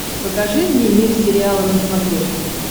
покажи мне мир сериала на смотрешке